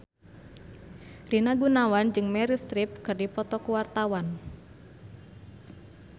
Rina Gunawan jeung Meryl Streep keur dipoto ku wartawan